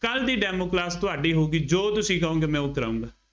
ਕੱਲ ਦੀ demo class ਤੁਹਾਡੀ ਹੋਊਗੀ ਜੋ ਤੁਸੀਂ ਕਹੋਂਗੇ ਮੈਂ ਉਹ ਕਰਾਊਂਗਾ।